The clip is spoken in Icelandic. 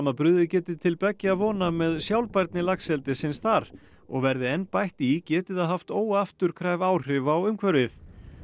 að brugðið geti til beggja vona með sjálfbærni laxeldisins þar og verði enn bætt í geti það haft óafturkræf áhrif á umhverfið